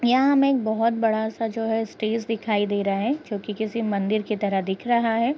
यहाँ हमें एक बहोत बड़ा सा जो है स्टेज दिखाई दे रहा है जो की किसी मंदिर की तरह दिख रहा है।